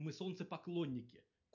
мы солнцепоклонники